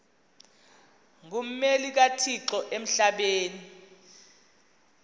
ngummeli kathixo emhlabeni